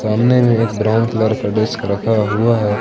सामने में एक ब्राउन कलर का डेस्क रखा हुआ है।